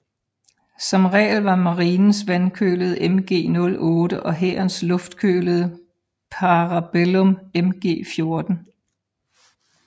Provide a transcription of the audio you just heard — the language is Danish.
Som regel var marinens vandkølede MG 08 og hærens luftkølede Parabellum MG 14